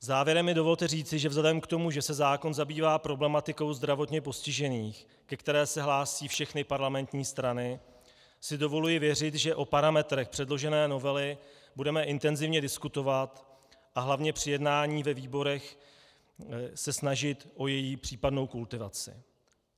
Závěrem mi dovolte říci, že vzhledem k tomu, že se zákon zabývá problematikou zdravotně postižených, ke které se hlásí všechny parlamentní strany, si dovoluji věřit, že o parametrech předložené novely budeme intenzivně diskutovat a hlavně při jednání ve výborech se snažit o její případnou kultivaci.